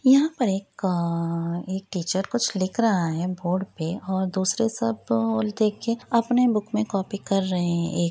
यहाँ पर एक अ एक टीचर कुछ लिख रहा है बोर्ड पे और दूसरे सब अ देख के अपने बुक में कॉपी कर रहे हैं ए --